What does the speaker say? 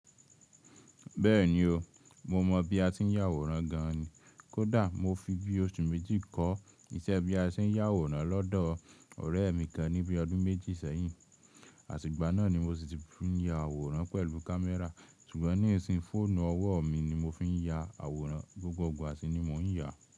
Bẹ́ẹ̀ni o, mo mọ bí a tí ń yà àwòrán gan ni. Kódà mo fi bí oṣù méjì kọ́ iṣẹ́ bí a tí ń yà àwòrán lọ́dọ̀ ọ̀rẹ́ mi kan ní bíi ọdún méjì sẹ́yìn. Àtì gbà náà ni mo sì ti fi ń ya àwòrán pẹ̀lú kámẹ́rà, ṣùgbọ́n ní ìsin fọ́ọ̀nù ọwọ́ mi ni mo fi ń ya àwòrán, gbogbo igba sí ni mo ń yà.